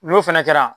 N'o fɛnɛ kɛra